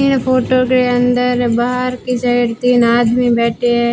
ई photo के अंदर-बाहर की साइड तीन आदमी बैठे है